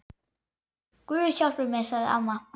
Guð hjálpi mér, sagði amma.